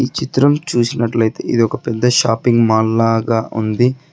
చిత్రం చూసినట్లయితే ఇది ఒక పెద్ద షాపింగ్ మాల్ లాగా ఉంది.